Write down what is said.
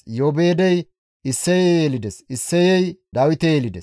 Iyoobeedey Isseye yelides; Isseyey Dawite yelides.